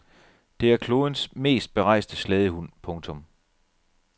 Det er klodens mest berejste slædehund. punktum